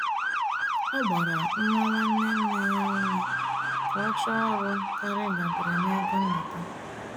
Ọ gbara nwa nwanne nneya ume ka ọ chọọ ọrụ karịa ịdabere na-ego nnata